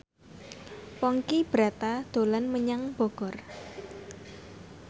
Ponky Brata dolan menyang Bogor